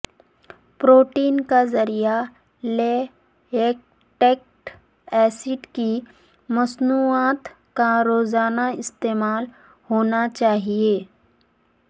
protein کا ذریعہ lactic acid کی مصنوعات کا روزانہ استعمال ہونا چاہئے